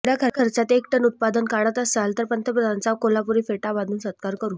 एवढय़ा खर्चात एक टन उत्पादन काढत असाल तर पंतप्रधानांचा कोल्हापूरी फेटा बांधून सत्कार करु